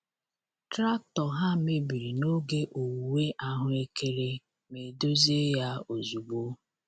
Traktọ ha mebiri n’oge owuwe ahuekere ma e dozie ya ozugbo.